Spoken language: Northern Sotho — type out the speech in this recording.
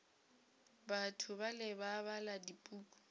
batho bale ba bala dipuku